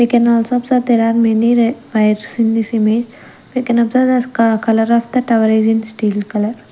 we can also observe there are many re bikes in this image we can observe the ka colour of the tower is steel colour.